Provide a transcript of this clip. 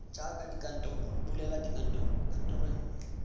jaaka dikantoro bulela kantoro nngwe